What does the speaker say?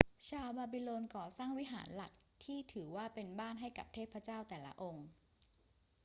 ชาวบาบิโลนก่อสร้างวิหารหลักที่ถือว่าเป็นบ้านให้กับเทพเจ้าแต่ละองค์